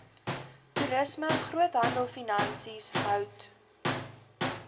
toerisme groothandelfinansies hout